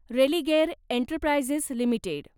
Religare enterprises limited